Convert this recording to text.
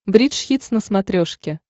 бридж хитс на смотрешке